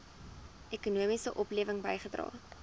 ekonomiese oplewing bygedra